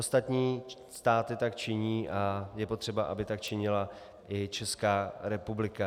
Ostatní státy tak činí a je potřeba, aby tak činila i Česká republika.